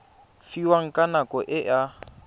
fiwang ka nako e a